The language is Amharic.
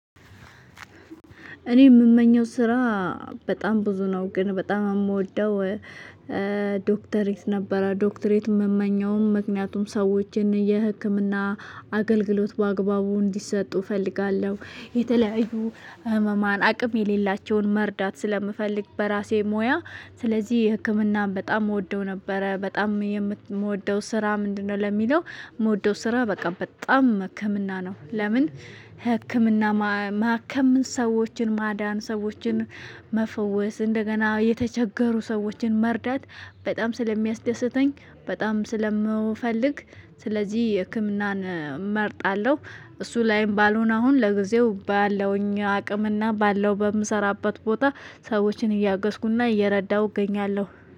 እኔ የምመኘው ስራ በጣም ብዙ ነው ግን በጣም የምወደው። ዶክተር ነበረ ዶክተሬት የምመኘውም ምክንያቱም ሰዎችን የህክምና አገልግሎት በአግባቡ እንዲሰጡ እፈልጋለሁ። የተለያዩ ህመማን አቅም የሌላቸውን መርዳት ስለምፈልግ በራሴ ሙያ። ስለዚህ ህክምናም በጣም እወደው ነበረ በጣም የምወደው ስራ ምንድነው ለሚለው? የምወደው ስራ በቃ በጣም ህክምና ነው። ለምን? ህክምና ማከም ሰዎችን ማዳን ሰዎችን መፈወስ እንደገና የተቸገሩ ሰዎችን መርዳት በጣም ስለሚያስደስተኝ። በጣም ስለምፈልግ። ስለዚህ የህክምናን እመርጣለሁ። እሱ ላይም ባልሆን አሁን ለጊዜው ባለውኝ አቅምና ባለው በምሰራበት ቦታ ሰዎችን እያገኩና እየረዳሁ እገኛለሁ።